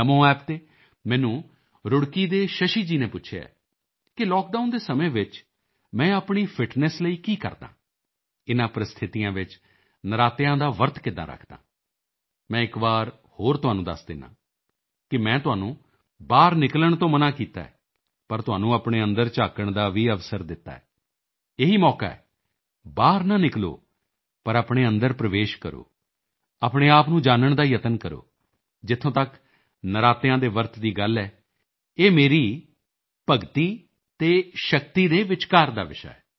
ਨਮੋ app ਤੇ ਮੈਨੂੰ ਰੁੜਕੀ ਦੇ ਸ਼ਸ਼ੀ ਜੀ ਨੇ ਪੁੱਛਿਆ ਹੈ ਕਿ ਲਾਕਡਾਊਨ ਦੇ ਸਮੇਂ ਵਿੱਚ ਮੈਂ ਆਪਣੀ ਫਿਟਨੈੱਸ ਲਈ ਕੀ ਕਰਦਾ ਹਾਂ ਇਨ੍ਹਾਂ ਪ੍ਰਸਥਿਤੀਆਂ ਵਿੱਚ ਨਰਾਤਿਆਂ ਦਾ ਵਰਤ ਕਿੱਦਾਂ ਰੱਖਦਾ ਹਾਂ ਮੈਂ ਇੱਕ ਵਾਰ ਹੋਰ ਤੁਹਾਨੂੰ ਦੱਸ ਦਿੰਦਾ ਹਾਂ ਮੈਂ ਤੁਹਾਨੂੰ ਬਾਹਰ ਨਿਕਲਣ ਤੋਂ ਮਨਾ ਕੀਤਾ ਹੈ ਪਰ ਤੁਹਾਨੂੰ ਆਪਣੇ ਅੰਦਰ ਝਾਕਣ ਦਾ ਵੀ ਅਵਸਰ ਦਿੱਤਾ ਹੈ ਇਹੀ ਮੌਕਾ ਹੈ ਬਾਹਰ ਨਾ ਨਿਕਲੋ ਪਰ ਆਪਣੇ ਅੰਦਰ ਪ੍ਰਵੇਸ਼ ਕਰੋ ਆਪਣੇ ਆਪ ਨੂੰ ਜਾਨਣ ਦਾ ਯਤਨ ਕਰੋ ਜਿੱਥੋਂ ਤੱਕ ਨਰਾਤਿਆਂ ਦੇ ਵਰਤ ਦੀ ਗੱਲ ਹੈ ਇਹ ਮੇਰੀ ਅਤੇ ਸ਼ਕਤੀ ਦੇ ਭਗਤੀ ਦੇ ਵਿਚਕਾਰ ਦਾ ਵਿਸ਼ਾ ਹੈ